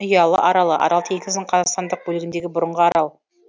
ұялы аралы арал теңізінің қазақстандық бөлігіндегі бұрынғы арал